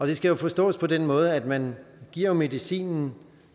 det skal jo forstås på den måde at man giver medicinen